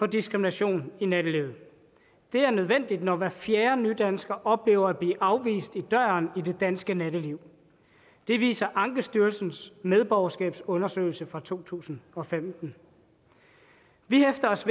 diskrimination i nattelivet det er nødvendigt når hver fjerde nydansker oplever at blive afvist i døren i det danske natteliv det viser ankestyrelsens medborgerskabsundersøgelse fra to tusind og femten vi hæfter os